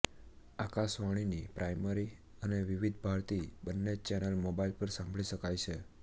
આકાશવાણીની પ્રાઇમરી અને વિવિધ ભારતી બંને ચેનલ મોબાઇલ પર સાંભળી શકાય છે